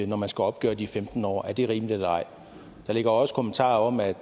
når man skal opgøre de femten år er det rimeligt eller ej der ligger også kommentarer om at